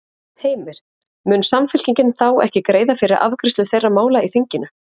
Heimir: Mun Samfylkingin þá ekki greiða fyrir afgreiðslu þeirra mála í þinginu?